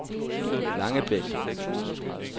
Langebæk